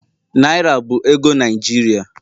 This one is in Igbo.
Naira bụ ego Naijiria